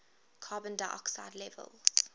carbon dioxide levels